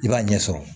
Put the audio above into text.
I b'a ɲɛsɔrɔ